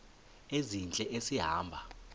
ezintle esi hamba